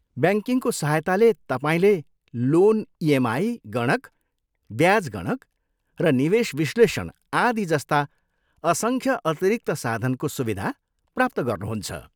ब्याङ्किङको सहायताले, तपाईँले loan EMI गणक, ब्याज गणक र निवेश विश्लेषण, आदि जस्ता असङ्ख्य अतिरिक्त साधनको सुविधा प्राप्त गर्नुहुन्छ।